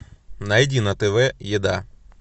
найди на тв еда